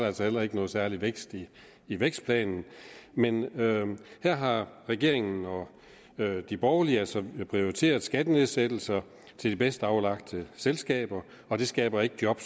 altså heller ikke noget særlig vækst i vækstplanen men her har regeringen og de borgerlige altså prioriteret skattenedsættelser til de bedst aflagte selskaber og det skaber ikke job